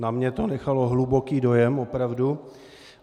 Na mně to nechalo hluboký dojem, opravdu.